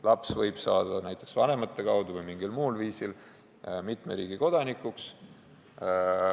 Laps võib näiteks vanemate kaudu või mingil muul viisil saada mitme riigi kodanikuks.